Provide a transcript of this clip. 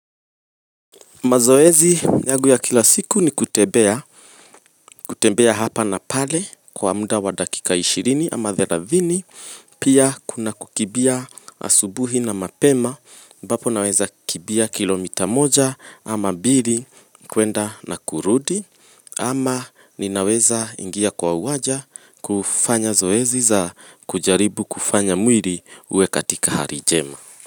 Mazoezi yagu ya kila siku ni kutebea, kutebea hapa na pale kwa muda wa dakika 20 ama 30, pia kuna kukibia asubuhi na mapema, ambapo naweza kibia kilomita moja ama bili kuenda na kurudi, ama ninaweza ingia kwa uwaja kufanya zoezi za kujaribu kufanya mwiri uwe katika harijema.